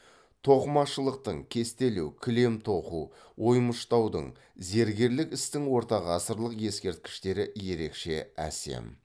тоқымашылықтың кестелеу кілем тоқу оймыштаудың зергерлік істің ортағасырлық ескерткіштері ерекше әсем